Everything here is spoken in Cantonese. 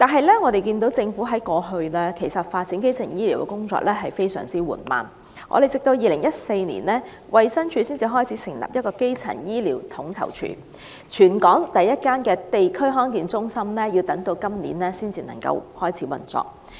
然而，政府過去發展基層醫療的工作一直非常緩慢，直至2014年，衞生署才成立基層醫療統籌處，全港首間地區康健中心在今年才能夠開始運作。